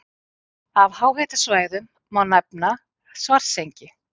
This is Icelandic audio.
Af háhitasvæðum má nefna Svartsengi.